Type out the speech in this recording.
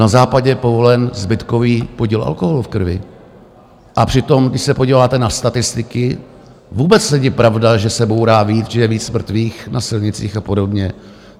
Na Západě je povolen zbytkový podíl alkoholu v krvi, a přitom když se podíváte na statistiky, vůbec není pravda, že se bourá víc, že je víc mrtvých na silnicích a podobně.